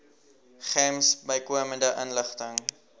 gems bykomende inligting